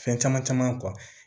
Fɛn caman caman